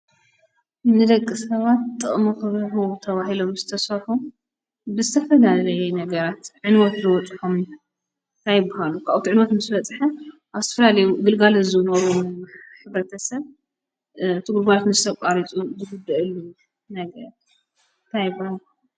ንደቂ-ሰባት ጥቅሚ ክህቡ ተባሂሎም ዝተሰርሑ ብዝተፈላለየ ነገራት ዕንወት ዝበፅሖም ታይ ይበሃሉ? ታውኡ ትዕንወት ምስ በፅሐ ኣብ ዝተፈላለየ ግልጋሎት ዝህቡ ዝነበሩ ሕብረተሰብ እቲ ግልጋሎት ምስ ኣቋረጹ ታይ ይበሃል?